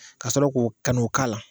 Ka sɔrɔ k'o ka n'o k'a la